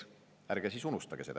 Ärge siis unustage seda!